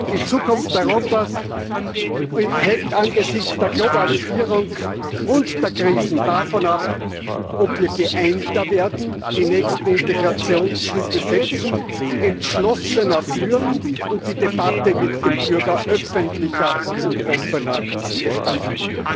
Die Zukunft Europas hängt angesichts der Globalisierung und der Krisen davon ab, ob wir geeinter werden, die nächsten Integrationsschritte setzen, entschlossener führen und die Debatte mit dem Bürger öffentlicher und offener gestalten.